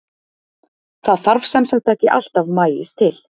Það þarf sem sagt ekki alltaf maís til.